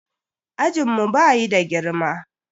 Ajinmu bayi da girma.